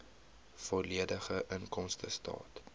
volledige inkomstestaat